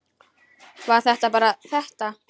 Var það bara þetta?